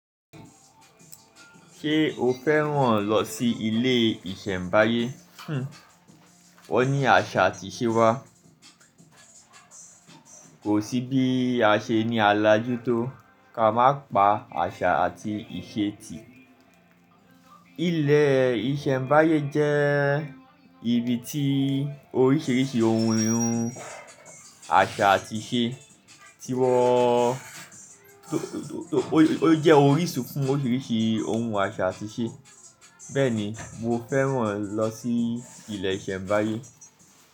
Ṣé o fẹ́ràn lọ sí ilé ìṣẹ̀mbáyé? Hhm, wọ́n ní àṣà àti ìṣe wá. Kò sí bí a ṣe ní à làjú tó ká má pa àṣà àti ìṣe tì. Ilẹ̀ ìṣẹ̀mbáyé jẹ́ ibi tí oríṣìíríṣìí ohun ìnhun, àṣà àti ìṣe tí wọ́n, ó jẹ́ orísun fún oríṣìíríṣìí ohun àṣà àti ìṣe. Bẹ́ẹ̀ni, mo fẹ́ràn lọ sí ilẹ̀ ìṣẹ̀mbáyé.